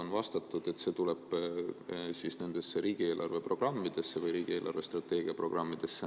On vastatud, et see tuleb riigi eelarvestrateegia programmi.